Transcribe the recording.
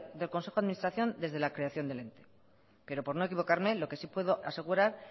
del consejo de administración desde la creación del ente pero por no equivocarme lo que sí puede asegurar